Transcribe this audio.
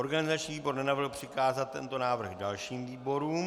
Organizační výbor nenavrhl přikázat tento návrh dalším výborům.